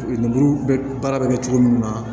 Lemuru bɛ baara bɛ kɛ cogo min na